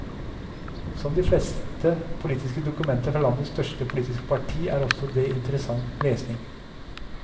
Som de fleste politiske dokumenter fra landets største politiske parti er også det interessant lesning.